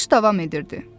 Qış davam edirdi.